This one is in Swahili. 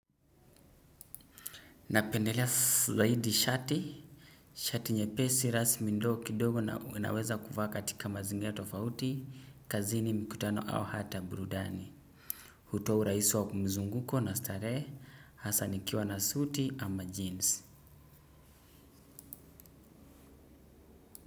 Napendelea zaidi shati, shati nyepesi rasmi ndio kidogo naweza kuvaa katika mazingira tofauti, kazini mkutano au hata burudani. Hutuo urahisi wa mzunguko na starehe, hasa nikiwa na suti ama jeans.